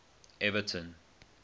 everton